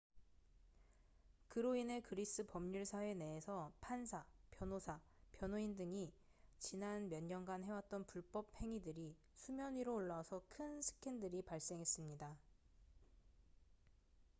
그로 인해 그리스 법률 사회 내에서 판사 변호사 변호인 등이 지난 몇 년간 해왔던 불법 행위들이 수면 위로 올라와서 큰 스캔들이 발생했습니다